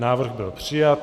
Návrh byl přijat.